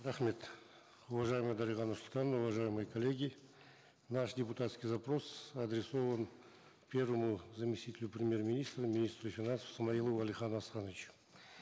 рахмет уважаемая дарига нурсултановна уважаемые коллеги наш депутатский запрос адресован первому заместителю премьер министра министру финансов смаилову алихану асхановичу